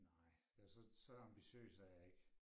Nej ja så så ambitiøs er jeg ikke